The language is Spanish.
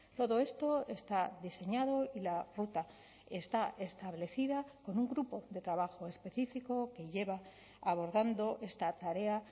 todo esto está diseñado y la ruta está establecida con un grupo de trabajo específico que lleva abordando esta tarea